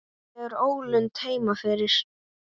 Er einhver ólund heima fyrir?